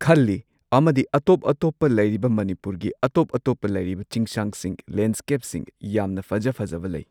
ꯈꯜꯂꯤ ꯑꯃꯗꯤ ꯑꯇꯣꯞꯄ ꯑꯇꯣꯞꯄ ꯂꯩꯔꯤꯕ ꯃꯅꯤꯄꯨꯔꯒꯤ ꯑꯇꯣꯞ ꯑꯇꯣꯞꯄꯗ ꯂꯩꯔꯤꯕ ꯆꯤꯡꯁꯥꯡꯁꯤꯡ ꯂꯦꯟꯁ꯭ꯀꯦꯞꯁꯤꯡ ꯌꯥꯝꯅ ꯐꯖ ꯐꯖꯕ ꯂꯩ꯫